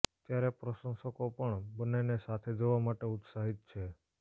ત્યારે પ્રશંસકો પણ બંનેને સાથે જોવા માટે ઉત્સાહિત છે